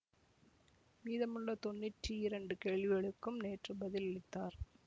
மீதமுள்ள தொண்ணுற்றி இரண்டு கேள்விகளுக்கும் நேற்று பதில் அளித்தார்